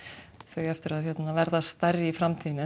eigi eftir að vera stærri í framtíðinni en